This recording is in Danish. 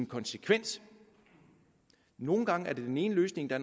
konsekvens nogle gange er det den ene løsning der